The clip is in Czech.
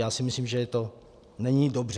Já si myslím, že to není dobře.